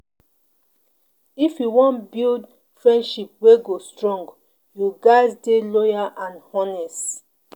If you wan build friendship wey go strong, you ghas dey loyal and honest.